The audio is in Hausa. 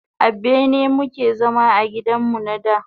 A bene mu ke zama a gidan mu na da.